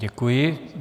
Děkuji.